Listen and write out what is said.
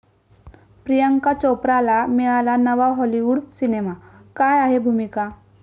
प्रियांका चोप्राला मिळाला नवा हाॅलिवूड सिनेमा, काय आहे भूमिका?